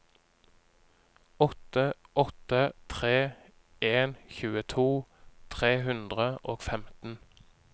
åtte åtte tre en tjueto tre hundre og femten